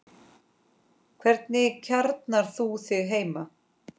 Hvernig kjarnar þú þig heima?